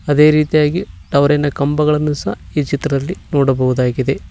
ಅದೇ ರೀತಿಯಾಗಿ ಟವರಿ ನ ಕಂಬಗಳನ್ನು ಸಹ ಈ ಚಿತ್ರದಲ್ಲಿ ನೋಡಬಹುದಾಗಿದೆ.